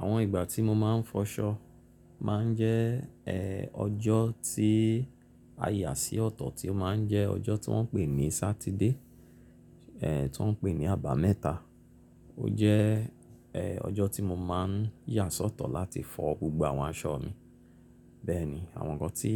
Àwọn ìgbà tí mo máa ń fọṣọ, máa ń jẹ́ ẹ́ ọjọ́ tí a yà sí ọ̀tọ̀ tí ó máa ń jẹ́ ọjọ́ tí wọ́n ń pè ní Sátidé ẹ́ tí wọ́n ń pè ní àbámẹ́ta. Ó jẹ́ ẹ́ ọjọ́ tí mo máa ń yà sọ́tọ̀ láti fọ gbogbo àwọn aṣọ mi. Bẹ́ẹ̀ ni, àwọn nǹkan tí